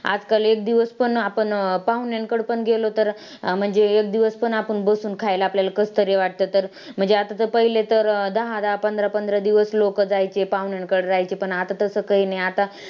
आजकाल एक दिवस पण आपण अं पाहुण्यांकडं पण गेलो तर म्हणजे एक दिवस पण आपण बसून खायला आपल्याला कसंतरी वाटतं तर म्हणजे आता तर पहिले तर दहा-दहा, पंधरा-पंधरा दिवस लोकं जायचे पाहुण्यांकडं राहायचे पण आता तसं काही नाही, आता